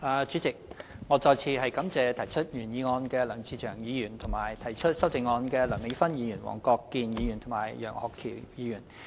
主席，我再次感謝提出原議案的梁志祥議員，以及提出修正案的梁美芬議員、黃國健議員和楊岳橋議員。